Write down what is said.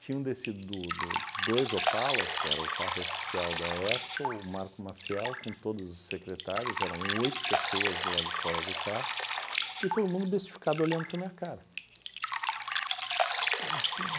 Tinham descido do do dois Opalas, que era o carro oficial da época, o Marco Maciel, com todos os secretários, eram oito pessoas do lado de fora do carro, e todo mundo bestificado olhando para a minha cara.